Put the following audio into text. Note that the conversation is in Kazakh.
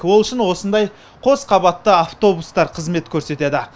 ол үшін осындай қос қабатты автобустар қызмет көрсетеді